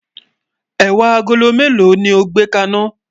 ẹwà àgólọ̀ mélò ló gbè ka iná?